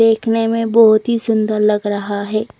देखने में बोहोत ही सुन्दर लग रहा है।